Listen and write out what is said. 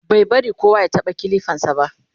bai bari kowa ya taɓa kilifan sa ba